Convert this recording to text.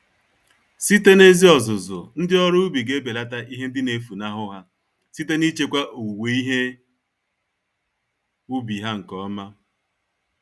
Site n'ezi ọzụzụ, ndị ọrụ ubi g'ebelata ihe ndị nefunahụ ha, site nichekwa owuwe ihe ubi ha nke ọma.